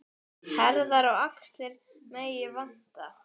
Herðar og axlir megi vanta.